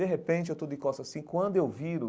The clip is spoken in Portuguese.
De repente, eu estou de costas assim, quando eu viro,